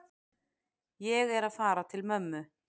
Ég er að fara til mömmu.